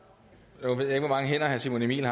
nu ved jeg ikke hvor mange hænder herre simon emil